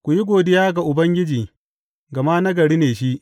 Ku yi godiya ga Ubangiji, gama nagari ne shi.